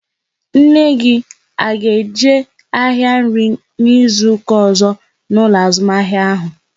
Nne gị a ga-eje ahịa nri n'izuka ọzọ n'ụlọ azụmahịa ahụ?